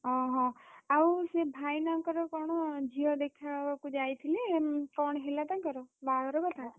ଅହ! ଆଉ ସେ ଭାଇନାଙ୍କର କଣ ଝିଅ ଦେଖାହବାକୁ ଯାଇଥିଲେ କଣ ହେଲା ତାଙ୍କର? ବାହାଘର କଥା?